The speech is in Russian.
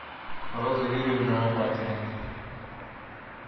роза юрьевна лопатина